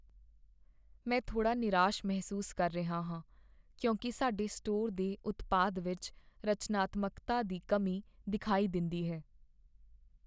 ਮੈਂ ਥੋੜ੍ਹਾ ਨਿਰਾਸ਼ ਮਹਿਸੂਸ ਕਰ ਰਿਹਾ ਹਾਂ ਕਿਉਂਕਿ ਸਾਡੇ ਸਟੋਰ ਦੇ ਉਤਪਾਦ ਵਿੱਚ ਰਚਨਾਤਮਕਤਾ ਦੀ ਕਮੀ ਦਿਖਾਈ ਦਿੰਦੀ ਹੈ।